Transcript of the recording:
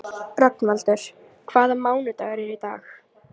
Rögnvaldur, hvaða mánaðardagur er í dag?